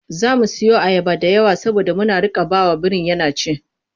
Za mu siyo ayaba da yawa saboda mu riƙa ba wa birin yana ci.